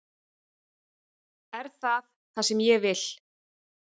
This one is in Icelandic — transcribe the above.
Er það það sem ég vil?